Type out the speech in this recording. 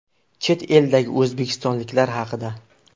Chet eldagi o‘zbekistonliklar haqida.